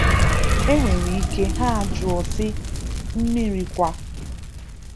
E nwere ike ha jụọ sị, “Mmiri kwa?”